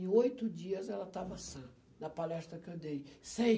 Em oito dias, ela estava sã, na palestra que eu dei. Sem